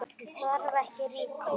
Hún þarf ekki rýting.